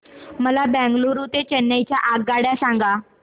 मला बंगळुरू ते चेन्नई च्या आगगाड्या सांगा